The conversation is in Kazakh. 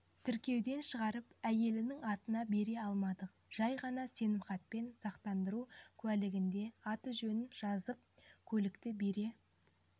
тіркеуден шығарып әйелінің атына бере алмадық жай ғана сенімхатпен сақтандыру куәлігінде аты-жөнін жаздырып көлікті бере